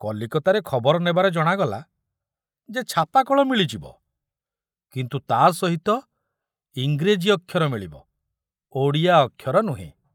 କଲିକତାରେ ଖବର ନେବାରେ ଜଣାଗଲା ଯେ ଛାପାକଳ ମିଳିଯିବ, କିନ୍ତୁ ତା ସହିତ ଇଂରେଜୀ ଅକ୍ଷର ମିଳିବ, ଓଡ଼ିଆ ଅକ୍ଷର ନୁହେଁ।